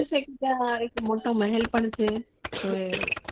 ત્યાં એક મોટા મેહેલ પણ છે કોઈ